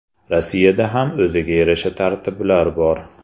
Rossiyada ham o‘ziga yarasha tartiblar bor.